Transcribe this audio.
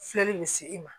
Filɛli bɛ se i ma